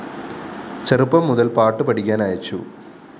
ചെറുപ്പം മുതല്‍ പാട്ടു പഠിക്കാന്‍ അയച്ചു